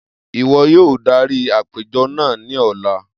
Iwọ yoo darí apejọ naa ni ọla!